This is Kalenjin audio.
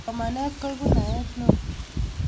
Somanet koipu naet neo